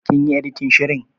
Kin yi editin shirin.